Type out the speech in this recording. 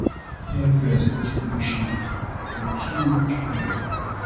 peer influence no fit push me to too much pressure